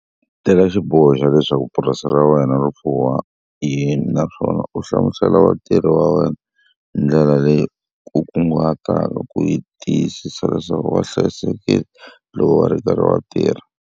Teka xiboho xa leswaku purasi ra wena ri fuwa yini naswona u hlamusela vatirhi va wena hi ndlela leyi u kunguhataka ku tiyisisa leswaku va hlayisekile loko va ri karhi va tirha.